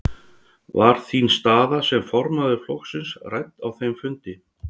Var þín staða sem formaður flokksins rædd á þeim fundi?